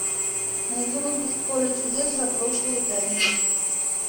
найди выпуск поле чудес за прошлую пятницу